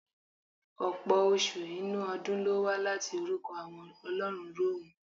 Ọ̀pọ̀ oṣù inú ọdún lówá láti orukọ àwọn ọlọ́run Rọ́ọ̀mù.